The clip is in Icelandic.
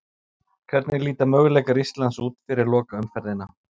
Hvernig líta möguleikar Íslands út fyrir lokaumferðina?